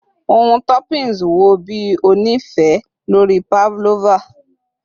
Ohun toppings wo bi o ni ife lori pavlova?